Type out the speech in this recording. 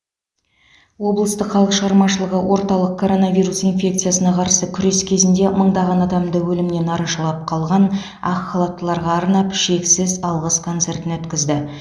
облыстық халық шығармашылығы орталығы коронавирус инфекциясына қарсы күрес кезінде мыңдаған адамды өлімнен арашалап қалған ақ халаттыларға арнап шексіз алғыс концертін өткізді